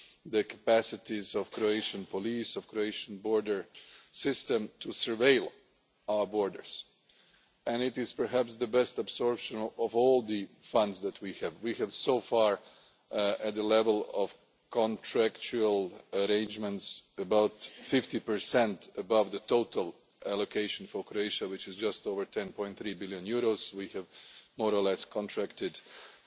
the capacities of the Croatian police, of the Croatian border system to surveil our borders and it is perhaps the best absorption of all the funds that we have. We have so far, at the level of contractual arrangements, about 50 above the total allocation for Croatia, which is just over EUR 10.3 billion. We have more or less contracted